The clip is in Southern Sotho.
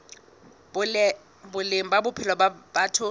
boleng ba bophelo ba batho